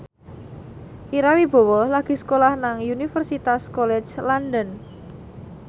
Ira Wibowo lagi sekolah nang Universitas College London